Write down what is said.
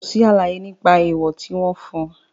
Kò sí àlàyé nípa èèwọ̀ tí wọ́n fún.